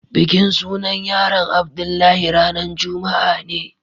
bikin sunan yaron Abdullahi ranan juma'a ne.